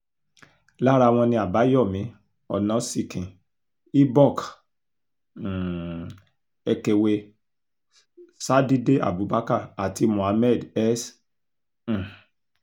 lára wọn ni àbáyọ̀mí onosìkín ibok um èkéwé sadìde abubakar àti muhammad s um